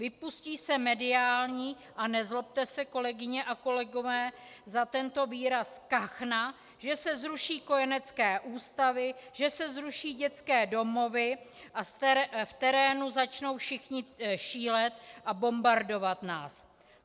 Vypustí se mediální - a nezlobte se, kolegyně a kolegové, za tento výraz - kachna, že se zruší kojenecké ústavy, že se zruší dětské domovy a v terénu začnou všichni šílet a bombardovat nás.